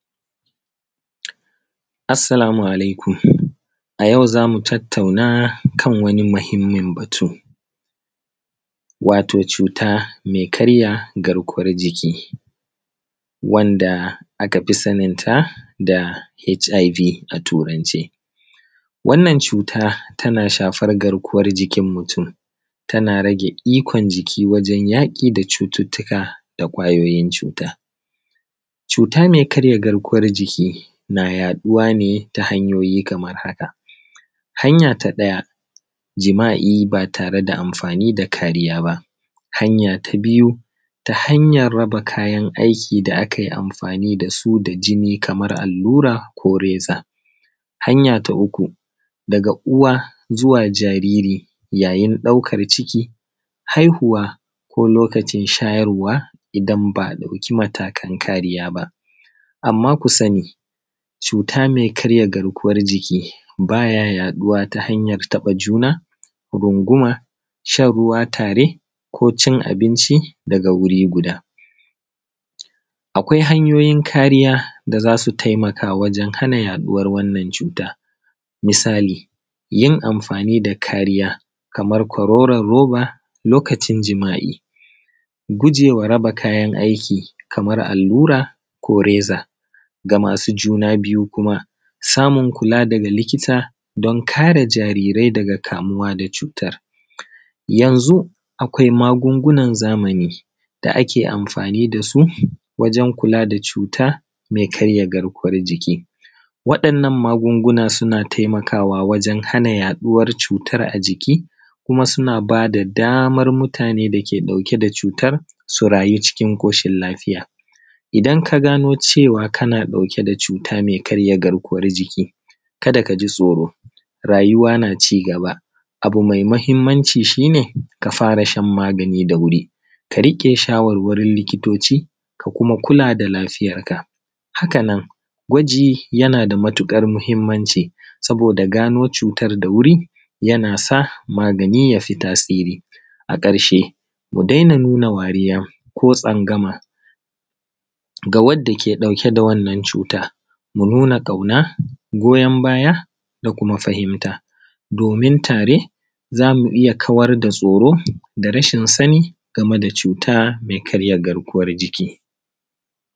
Assalamu alaikum. A yau za mu tattauna kan wani mahimin batu, wato cuta mai karya garkuwan jiki, wanda a kafi sanin ta da H.I.V a Turance. Wannan cuta tana shafar garkuwan mutum, tana rage ikon jiki wajen yaƙi da cututuka da kwayyoyin cuta. Cuta mai karya garkuwan jiki na yaɗuwa ne ta hanyoyi kamar haka: Hanya ta ɗaya, jima’i ba tare da amfani da kariya ba. Hanya ta biyu, ta hanyan raba kayan aiki da a kai amfani da su da jini, kamar allura ko reza. Hanya ta uku, daga uwa zuwa jariri, yayin ɗaukar ciki, haihuwa, ko lokacin shayarwa, idan ba a ɗauki matakan kariya ba. Amma ku sani, cuta mai karya garkuwan jiki ba yaɗuwa ta hanyan taɓa juna, runguma, shanruwa tare, ko cin abinchi daga wuri guda. Akwai hanyoyin kariya da zasu taimaka wajen hana yaɗuwan wannan cuta. Misali: Yin amfani da kariya kamar konon roba lokacin jima’i. Guje war raba kayan aiki kamar allura ko reza. Ga masu juna biyu, kuma, samun kula daga likita, don kare jariri daga kamuwa da cutar. Yanzu akwai magungunan zamani da ake amfani da su wajen kula da cuta mai karya garkuwan jiki. Waɗannan magunguna suna taimakawa wajen hana yaɗuwan cutar a jiki, kuma suna ba da damar mutanen dake ɗauke da cutar su rayyu cikin ƙoshin lafiya. Idan ka gano cewa kana ɗauke da cuta mai karya garkuwan jiki, kada ka ji tsoro. Rayyuwa na ci gaba. Abu mai mahimanci shine, ka fara shan magani da wuri, ga riƙe shawar-warin likitoci, ka kuma kula da lafiyar ka. Hakanan, gwaji yana da matuƙar mahimanci, saboda gano cutar da wuri ya nasa magani ya fi tasiri. A ƙarshe, mu dena dena nuna wariya koko tsangamaga wa waɗa dake ɗauke da wannan cuta. Mu nuna ƙauna, goyon baya, da kuma fahimta, domin tare za mu iya kawar da tsoro da rashin sani game da cuta mai karya garkuwan jiki.